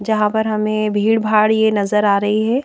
जहां पर हमें भीड़-भाड़ ये नजर आ रही है।